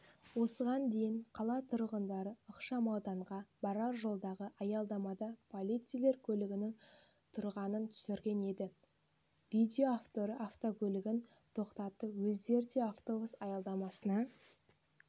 осыған дейін қала тұрғындары ықшамауданға барар жолдағы аялдамада полицейлер көлігінің тұрғанын түсірген еді видео авторы автокөлігін тоқтатып өздері де автобус аялдамасына